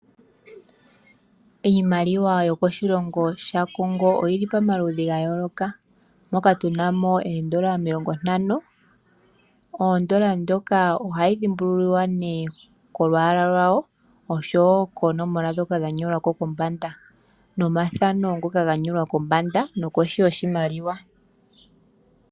Iimaliwa yokoshilongo shaCongo oyili pamaludhi gayoloka. Moka tuna mo oodollar omilongo ntano. Odollar ndjoka ohayi dhimbulukwa ko olwaala lwayo oshowo koonomola dhoka dha nyolwa ko kombanda nomathano ngoka ganyolwako kombanda nokohi yoshimaliwa.